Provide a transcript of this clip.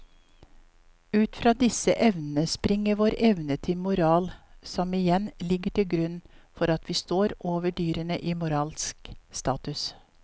Ut fra disse evnene springer vår evne til moral som igjen ligger til grunn for at vi står over dyrene i moralsk status.